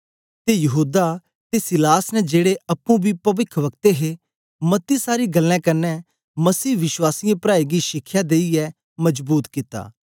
ते यहूदा ते सीलास ने जेड़े अप्पुं बी पविख्ब्कते हे मती सारी गल्लें कन्ने मसीह विश्वासी प्राऐं गी शिखया देईयै मजबूत कित्ता